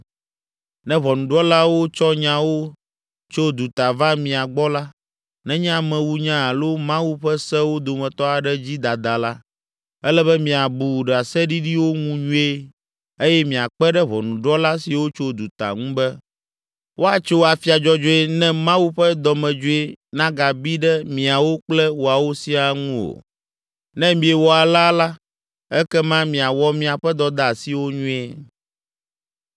Ne ʋɔnudrɔ̃lawo tsɔ nyawo tso duta va mia gbɔ la, nenye amewunya alo Mawu ƒe sewo dometɔ aɖe dzi dada la, ele be miabu ɖaseɖiɖiwo ŋu nyuie eye miakpe ɖe ʋɔnudrɔ̃la siwo tso duta ŋu be, woatso afia dzɔdzɔe ne Mawu ƒe dɔmedzoe nagabi ɖe miawo kple woawo siaa ŋu o. Ne miewɔ alea la, ekema miawɔ miaƒe dɔdeasiwo nyuie.”